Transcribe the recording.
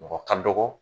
Mɔgɔ ka dɔgɔ